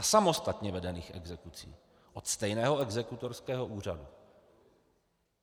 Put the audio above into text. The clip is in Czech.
A samostatně vedených exekucí od stejného exekutorského úřadu.